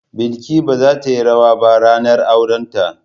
Balki ba za ta yi rawa ba ranar aurenta.